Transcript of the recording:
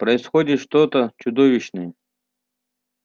происходит что-то чудовищное